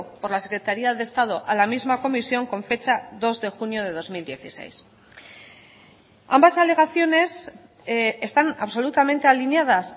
por la secretaría de estado a la misma comisión con fecha dos de junio de dos mil dieciséis ambas alegaciones están absolutamente alineadas